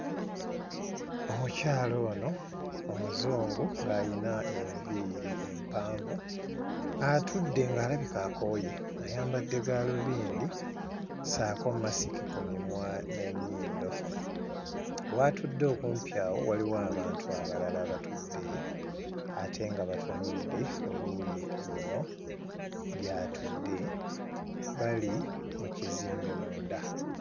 Omukyala ono omuzungu ng'ayina enviiri empanvu, atudde ng'alabika akooye, ayambadde gaalubindi ssaako masiki ku mimwa n'ennyindo, w'atudde okumpi awo waliwo abantu abalala abatudde ate nga batunudde oluuyi luno gy'atudde bali mu kizimbe munda.